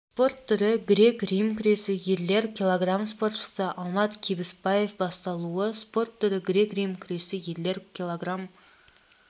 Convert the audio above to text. спорт түрі грек-рим күресі ерлер кг спортшы алмат кебіспаев басталуы спорт түрі грек-рим күресі ерлер кг